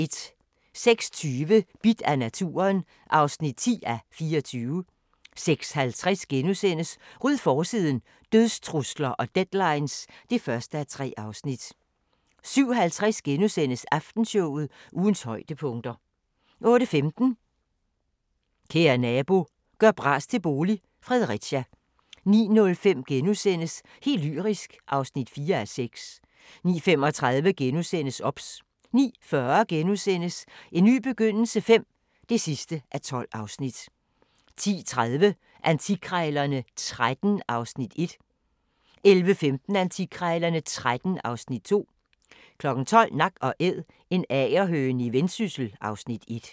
06:20: Bidt af naturen (10:24) 06:50: Ryd forsiden – Dødstrusler og deadlines (1:3)* 07:50: Aftenshowet – ugens højdepunkter * 08:15: Kære nabo – gør bras til bolig – Fredericia 09:05: Helt lyrisk (4:6)* 09:35: OBS * 09:40: En ny begyndelse V (12:12)* 10:30: Antikkrejlerne XIII (Afs. 1) 11:15: Antikkrejlerne XIII (Afs. 2) 12:00: Nak & Æd – en agerhøne i Vendsyssel (Afs. 1)